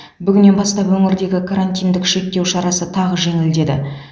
бүгіннен бастап өңірдегі карантиндік шектеу шарасы тағы жеңілдеді